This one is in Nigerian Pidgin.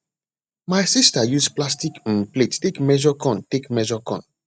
my sister use plastic um plate take measure corn take measure corn